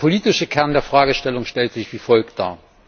Der politische Kern der Fragestellung stellt sich wie folgt dar.